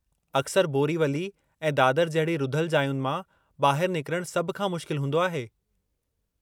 अक्सर बोरीवली ऐं दादर जहिड़ी रुधलु जायुनि मां ॿाहिरि निकरणु सभु खां मुश्किल हूंदो आहे।